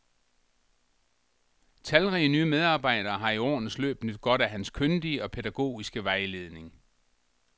Talrige nye medarbejdere har i årenes løb nydt godt af hans kyndige og pædagogiske vejledning.